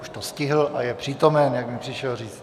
Už to stihl a je přítomen, jak mi přišel říct.